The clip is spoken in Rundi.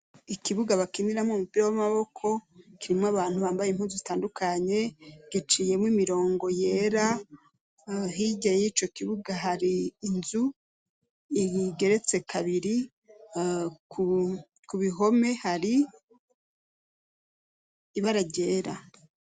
Ikibuga bakiniramwo umupira w'amaboko kirimwo abantu bambaye impunzu zitandukanye giciyemwo imirongo yera, hirya y'ico kibuga hari inzu igeretse kabiri ku bihome hari ibara ryera.